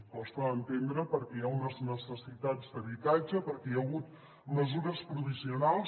costa d’entendre perquè hi ha unes necessitats d’habitatge perquè hi ha hagut mesures provisionals